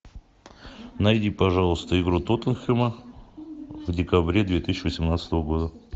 найди пожалуйста игру тоттенхэма в декабре две тысячи восемнадцатого года